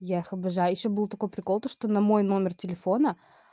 я их обожаю ещё был такой прикол то что на мой номер телефона